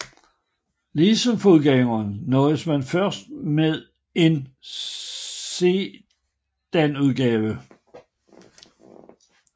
Ligesom forgængeren nøjedes man først med en sedanudgave